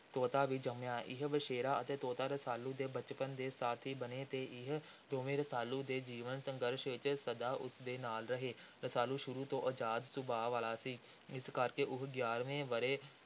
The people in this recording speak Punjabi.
ਤੋਤਾ ਵੀ ਜੰਮਿਆ। ਇਹ ਵਛੇਰਾ ਅਤੇ ਤੋਤਾ ਰਸਾਲੂ ਦੇ ਬਚਪਨ ਦੇ ਸਾਥੀ ਬਣੇ ਅਤੇ ਇਹ ਦੋਵੇਂ ਰਸਾਲੂ ਦੇ ਜੀਵਨ – ਸੰਘਰਸ਼ ਵਿਚ ਸਦਾ ਉਸ ਦੇ ਨਾਲ ਰਹੇ। ਰਸਾਲੂ ਸ਼ੁਰੂ ਤੋਂ ਅਜ਼ਾਦ ਸੁਭਾਅ ਵਾਲਾ ਸੀ। ਇਸ ਕਰਕੇ ਉਹ ਗਿਆਰ੍ਹਵੇਂ ਵਰ੍ਹੇ